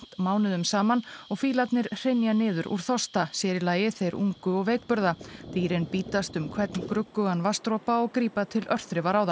mánuðum saman og fílarnir hrynja niður úr þorsta sér í lagi þeir ungu og veikburða dýrin bítast um hvern gruggugan vatnsdropa og grípa til örþrifaráða